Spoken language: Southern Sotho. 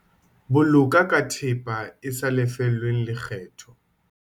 Boloka ka thepa e sa lefellweng lekgetho.